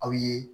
Aw ye